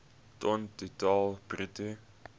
ton totaal bruto